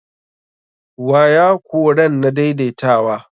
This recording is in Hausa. Waya koren na daidaitawa.